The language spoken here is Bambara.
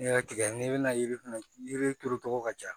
N'i y'a tigɛ n'i bɛna yiri fɛnɛ yiri turu togo ka jan